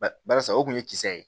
Ba barisa o kun ye kisɛ ye